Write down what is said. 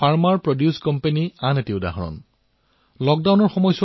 ইয়াৰ ব্যৱস্থাসমূহ অতিশয় নমনীয় আৰু তাৰো পাঁচছবছৰ পূৰ্বে ইয়াক প্ৰস্তুত কৰা হৈছে